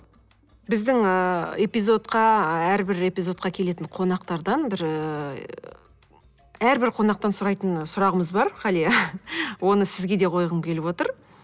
біздің ы эпизодқа әрбір эпизодқа келетін қонақтардан бір ііі әрбір қонақтан сұрайтын сұрағымыз бар ғалия оны сізге де қойғым келіп отыр